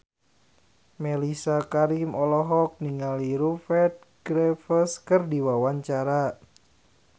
Mellisa Karim olohok ningali Rupert Graves keur diwawancara